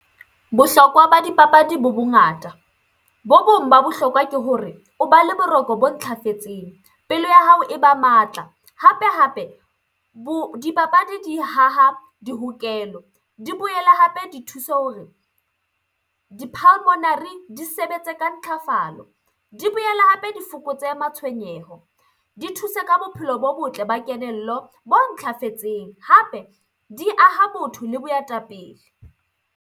Bohlokwa ba dipapadi bo bongata. Bo bong ba bohlokwa ke hore o ba le boroko bo ntlafetseng, pelo ya hao e ba matla, hape-hape dipapadi di haha di hokelo, di boele hape di thuse hore di sebetse ka ntlafalo. Di boele hape di fokotse matshwenyeho, di thuse ka bophelo bo botle ba kelello bo ntlafetseng. Hape di aha botho le boetapele.